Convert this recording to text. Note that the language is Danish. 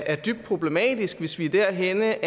er dybt problematisk hvis vi er derhenne